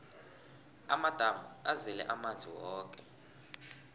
amadamu azele amanzi woke